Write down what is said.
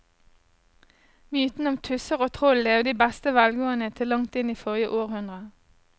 Mytene om tusser og troll levde i beste velgående til langt inn i forrige århundre.